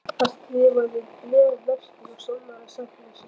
Hann skrifaði bréf vestur og sannaði sakleysi sitt.